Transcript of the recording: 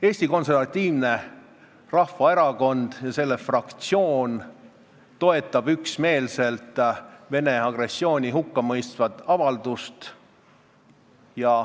Eesti Konservatiivne Rahvaerakond ja selle fraktsioon toetab üksmeelselt Vene agressiooni hukkamõistvat avaldust.